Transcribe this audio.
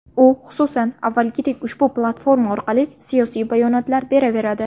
U, xususan, avvalgidek, ushbu platforma orqali siyosiy bayonotlar beraveradi.